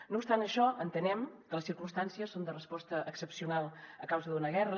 no obstant això entenem que les circumstàncies són de resposta excepcional a causa d’una guerra